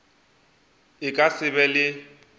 a ka se be le